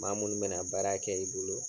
Maa minnu bɛna baara kɛ i bolo